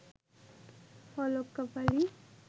Alok Kapali